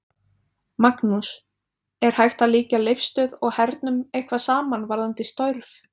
Magnús: Er hægt að líkja Leifsstöð og hernum eitthvað saman varðandi störf?